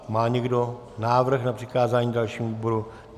Má někdo návrh na přikázání dalšímu výboru?